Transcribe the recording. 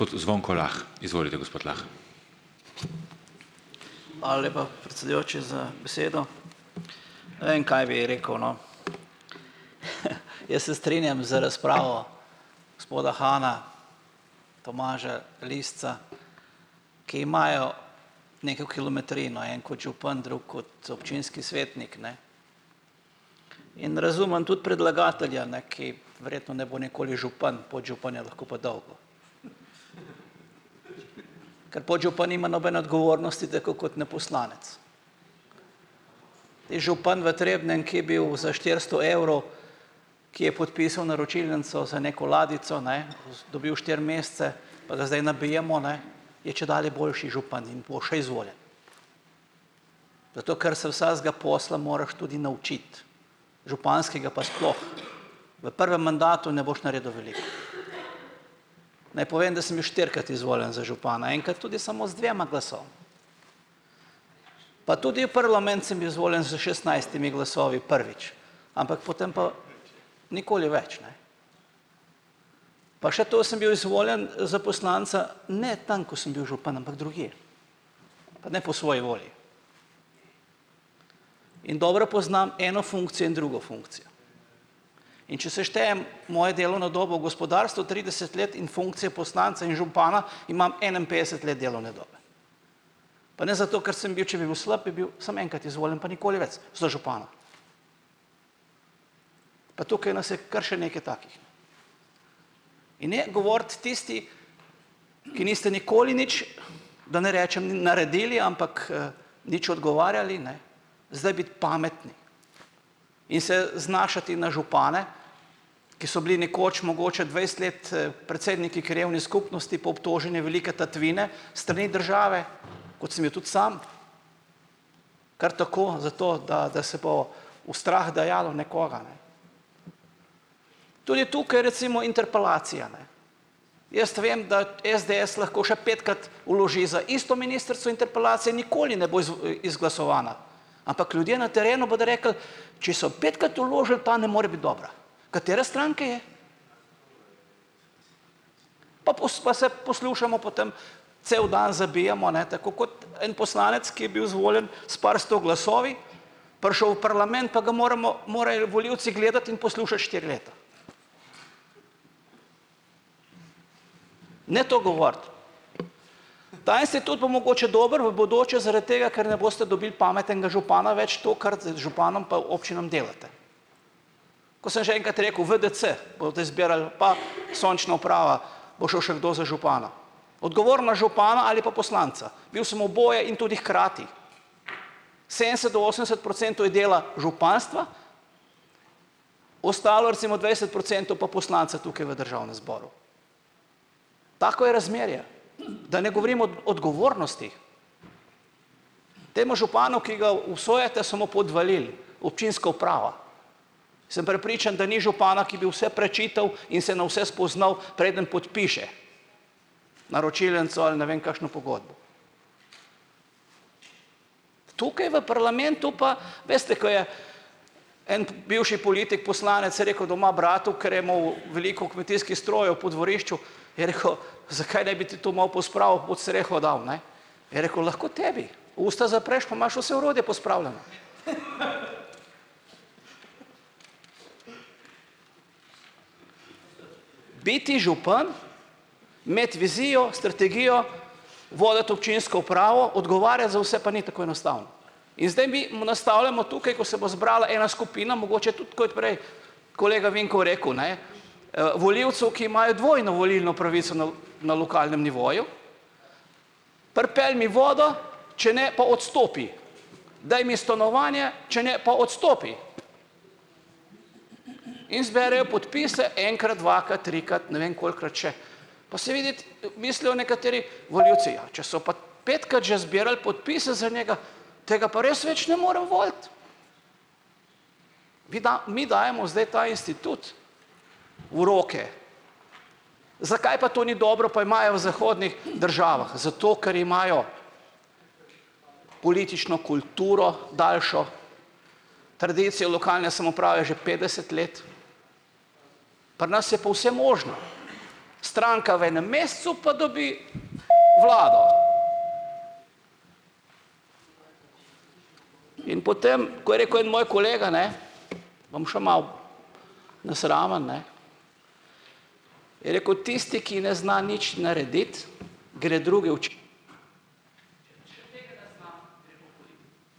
Lepa predsedujoči za besedo. Kaj bi rekel, no, je se strinjam z razpravo gospoda Hana, Tomaža Lisca, ki imajo kilometrino en kot župan drug kot občinski svetnik, ne, in tudi predlagatelja, ne, ki ne bo nikoli župan, podžupan je lahko pa dolgo. Ker podžupan nima nobene odgovornosti dko kot ne poslanec. župan v Trebnjem, ki je bil za štiristo evrov, ki je podpisal naročilnico za neko ladjico, ne, dobil štiri mesece pa da zdaj nabijemo, ne, je čedalje boljši župan in bo še izvoljen. Ker se vsakega posla moraš tudi naučiti, županskega pa sploh. V prvem mandatu ne boš naredil. Naj povem, da štirikrat izvoljen za župana, enkrat tudi samo z dvema. Pa tudi v parlament sem bil izvoljen s šestnajstimi glasovi prvič, ampak potem pa nikoli več, ne. Pa še to sem bil izvoljen, za poslanca, ne, tam ko sem bil župan, ampak drugje, pa ne po svoji volji. In dobro poznam eno drugo funkcijo. In če seštejem mojo delovno dobo v gospodarstvu trideset let in funkcije poslanca in župana, imam enainpetdeset let delovne dobe. Pa ne zato, ker sem bil, če bi bil slep, bi bil samo enkrat izvoljen, pa nikoli več, za župana. Pa tukaj nas je še kar nekaj takih. In ne govoriti tisti, ki niste nikoli nič, da ne rečem, naredili, ampak, nič odgovarjali, ne, zdaj biti pametni in se znašati na župane, ki so bili nekoč mogoče dvajset let, predsedniki krajevne skupnosti, po obtoženi velike tatvine s strani države, tudi sam, kar tako, zato, da da se bo v strah dajalo nekoga, ne. Tudi tukaj recimo, interpelacija, ne. Jaz vem, da SDS lahko še petkrat vloži za isto ministrico interpelacije, nikoli ne bo izglasovana, ampak ljudje na terenu bodo rekli: "Če so petkrat vložili, ta ne more biti dobra, katere stranke je." Pa pa se poslušajmo potem, cel dan zabijamo, ne, tako kot en poslanec, ki je bil izvoljen s par sto glasovi, prišel v parlament, pa ga moramo, morajo volivci gledati in poslušati štiri leta. Ne to govoriti. Tudi bo mogoče dobro v bodoče, zaradi tega, ker ne boste dobili pametnega župana več, to, županom pa občinam delate. Ko sem že enkrat rekel, VDC boste zbirali, pa sončna uprava bo šel še kdo za župana. Odgovornost župana ali pa poslanca. Bil sem oboje in tudi hkrati, sedemdeset do osemdeset procentov je dela županstva, ostalo, recimo dvajset procentov pa poslanca tukaj v državnem zboru. Tako je razmerje, da ne govorim od odgovornostih. Temu županu, ki ga obsojate, so mu podvalili občinsko upravo. Sem prepričan, da ni župana, ki bi vse prečital in se na vse spoznal, preden podpiše naročilnico ali ne vem kakšno pogodbo. Tukaj v parlamentu pa veste, en bivši politik poslanec rekel doma bratu, ker je imel veliko kmetijskih strojev po dvorišču, je rekel: "Zakaj ne bi ti to malo pospravil, pod streho dal, ne." Je rekel: "Lahko tebi, usta zapreš, pa imaš vse orodje." Biti župan, imeti vizijo, strategijo, voditi občinsko upravo, za vse, pa ni tako enostavno. In zdaj mi mu nastavljamo tukaj, ko se bo zbrala ena skupina, mogoče tudi prej kolega Vinko rekel, ne, volivcev, ki imajo dvojno volilno pravico na lokalnem nivoju, pripelji mi vodo, če ne pa odstopi. Daj mi stanovanje, če ne pa odstopi. In zberejo podpise, enkrat, dvakrat, trikrat, ne ve kolikokrat še. Mislijo nekateri volivci, ja, če so pat petkrat že zbirali podpise za njega, tega pa res več ne morem voliti. Vi mi dajemo zdaj ta institut v roke. Zakaj pa to ni dobro, pa imajo v zahodnih državah, zato, ker imajo politično kulturo daljšo, tradicijo lokalne samouprave že petdeset let, pri nas je pol vse možno. Stranka v enem mesecu, pa dobi vlado. In potem, ko je rekel en moj kolega, ne, bom še malo nesramen, ne, rekel, tisti, ki ne zna nič narediti, gre druge ...